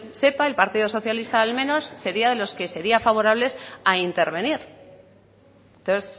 sepa el partido socialista al menos sería de los que se serían favorables a intervenir entonces